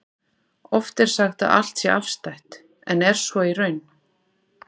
Oft er sagt að allt sé afstætt, en er svo í raun?